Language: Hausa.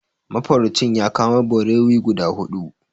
Mafaraucin ya kamo barewi guda huɗu.